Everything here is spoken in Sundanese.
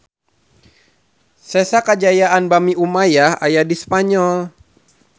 Sesa kajayaan Bani Umayyah aya di Spanyol